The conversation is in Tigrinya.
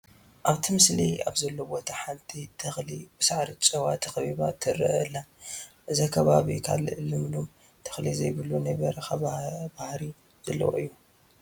ኣብቲ ምስሊ ኣብዘሎ ቦታ ሓንቲ ተኽሊ ብሳዕሪ ጨጨዋ ተኸቢባ ትርአ ኣላ፡፡ እዚ ከባቢ ካልእ ልምሉም ተኽሊ ዘይብሉ ናይ በረኻ ባህሪ ዘለዎ እዩ፡፡